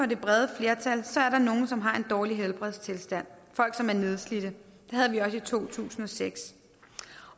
det brede flertal er der nogle som har en dårlig helbredstilstand folk som er nedslidte det havde vi også i to tusind og seks